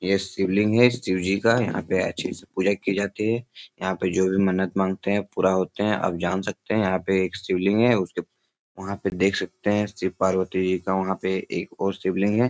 यह शिवलिंग है शिव जी का यहाँ पे अच्छे से पूजा की जाती है। यहाँ पे जो भी मन्नत मांगते हैं पूरा होते हैं। आप जान सकते हैं यहाँ पे एक शिवलिंग है उसके वहाँ पे देख सकते हैं। शिव पार्वती जी का वहाँ पे एक और शिवलिंग है।